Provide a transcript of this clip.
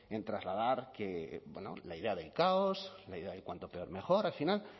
en trasladar la idea de caos la idea de cuanto peor mejor al final